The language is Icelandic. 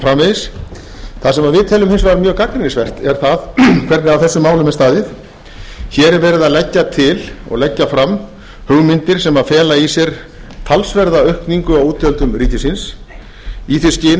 framvegis það sem við teljum hins vegar mjög gagnrýnisvert er það hvernig að þessum málum er staðið hér er verið að leggja til og leggja fram hugmyndir sem fela í sér talsverða aukningu á útgjöldum ríkisins í því skyni